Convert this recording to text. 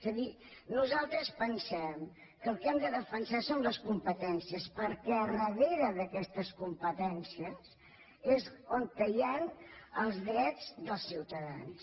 és a dir nosaltres pensem que el que hem de defensar són les competències perquè darrere d’aquestes competències és on hi han els drets dels ciutadans